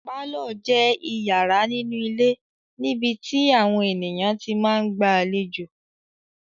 Pálọ̀ jẹ́ ìyàrá nínú ilé níbi tí àwọn ènìyàn tí máa ń gba àlejò.